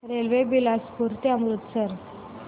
railway Bilaspur ते अमृतसर